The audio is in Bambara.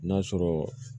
N'a sɔrɔ